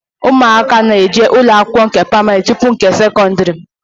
Ụmụaka na-eje ụlọ akwụkwọ pramarị tupu nke sekọndrị